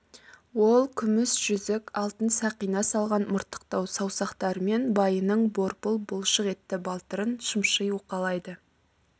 ол күміс жүзік алтын сақина салған мыртықтау саусақтарымен байының борпыл бұлшық етті балтырын шымши уқалайды